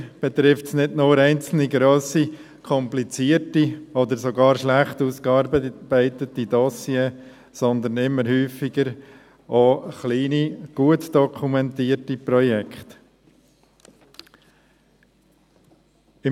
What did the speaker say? Leider betrifft es nicht nur einzelne, grosse, komplizierte oder schlecht ausgearbeitete Dossiers, sondern immer häufiger auch kleine, gut dokumentierte Projekte.